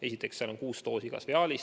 Esiteks, igas viaalis on kuus doosi.